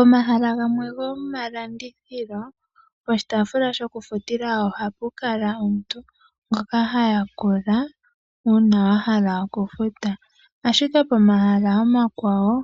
Omahala gamwe gomalandithilo, po shitaafula ohapu kala puna omuntu ngoka hayakula uuna pena aantu ashike pomahala omakwawo